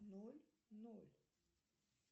ноль ноль